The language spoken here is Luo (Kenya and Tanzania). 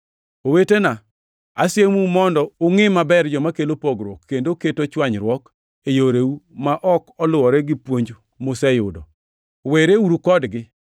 Owetena, asiemou mondo ungʼi maber joma kelo pogruok, kendo keto chwanyruok e yoreu ma ok oluwore gi puonj museyudo. Wereuru kodgi.